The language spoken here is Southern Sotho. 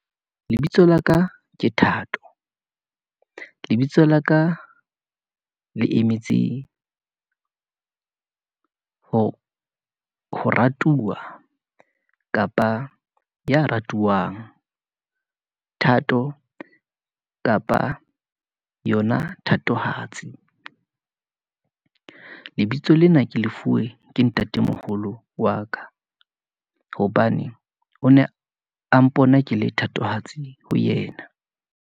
Lebitso laka ke Thato , lebitso laka le emetse ho ratuwa, kapa ya ratuwang , Thato kapa yona thatohatsi . Lebitso lena ke lefuwe ke ntatemoholo wa ka, hobane o ne a mpona ke le thatohatsi ho yena.